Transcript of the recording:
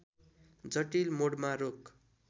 जटिल मोडमा रोक